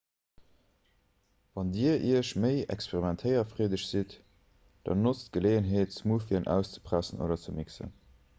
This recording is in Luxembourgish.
wann dir iech méi experimentéierfreedeg sidd dann notzt d'geleeënheet smoothien auszepressen oder ze mixen